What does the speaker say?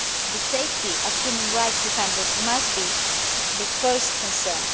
The safety of human rights defenders must be the first concern.